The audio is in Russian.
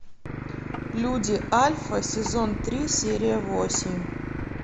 люди альфа сезон три серия восемь